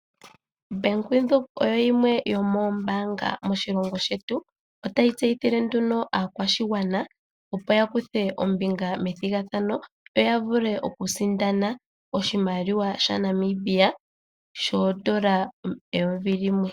Obank Windhoek oyo yimwe yomoombaanga moshilongo shetu notayi tseyithile nduno aakwashigwana opo ya kuthe ombinga methigathano, opo ya vule okusindana oshimaliwa shaNamibia shoodola eyovi limwe.